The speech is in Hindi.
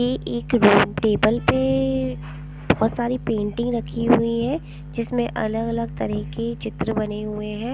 ये एक रूम टेबल पे बहुत सारी पेंटिंग रखी हुई हैं जिसमें अलग-अलग तरह के चित्र बने हुए हैं ।